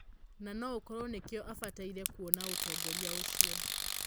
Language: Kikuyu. Na noũkorwo nĩkĩo abataire kũona ũtongoria ũcio.